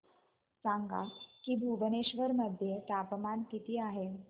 सांगा की भुवनेश्वर मध्ये तापमान किती आहे